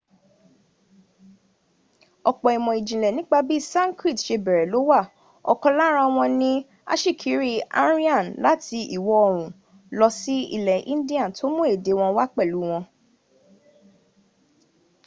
ọ̀pọ̀ ìmọ̀ ìjìnlẹ̀ nípa bí sankrit se bẹ̀rẹ̀ ló wà ọkàn lára wọn ni ti asíkiri aryan láti ìwọ̀ oòrùn lọ sí ilẹ̀ india tó mún èdè wọn wá pẹ̀lu wọn